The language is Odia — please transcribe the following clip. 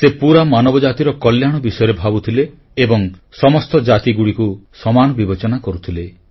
ସେ ପୁରା ମାନବ ଜାତିର କଲ୍ୟାଣ ବିଷୟରେ ଭାବୁଥିଲେ ଏବଂ ସମସ୍ତ ଜାତିକୁ ସମାନ ବିବେଚନା କରୁଥିଲେ